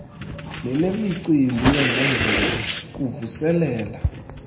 nelemicimbi yezemvelo kuvuselela